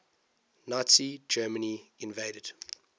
nazi germany invaded